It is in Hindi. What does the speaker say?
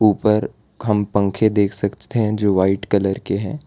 ऊपर हम पंख देख सकते हैं जो व्हाइट कलर के हैं।